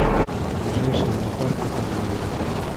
ближайший зоопарк в этом городе